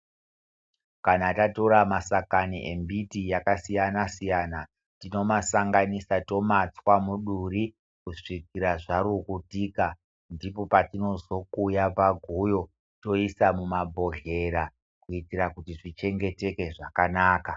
Kana tatora masakani embiti yakasiyana siyana tinomasanganisa tomatswa muduri kusvikira zvarukutika ndipo patinozokuya paguyo toisa muma bhohlera kuitira kuti zvichengeteke zvakanaka.